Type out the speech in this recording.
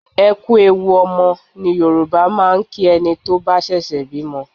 "Ẹ kú ewu ọmọ" ni Yorùbá máa ń kí ẹni tó bá ṣẹ̀ṣẹ̀ bímọ.